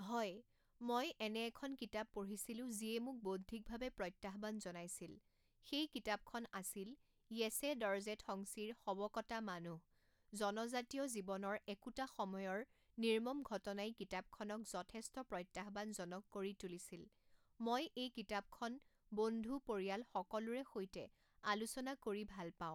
হয় মই এনে এখন কিতাপ পঢ়িছিলোঁ যিয়ে মোক বৌদ্ধিকভাৱে প্ৰত্যাহ্বান জনাইছিল সেই কিতাপখন আছিল য়েছে দৰ্জে ঠংচিৰ শৱ কটা মানুহ জনজাতীয়া জীৱনৰ একোটা সময়ৰ নিৰ্মম ঘটনাই কিতাপখনক যথেষ্ট প্ৰত্যাহ্বানজনক কৰি তুলিছিল মই এই কিতাপখন বন্ধু পৰিয়াল সকলোৰে সৈতে আলোচনা কৰি ভাল পাওঁ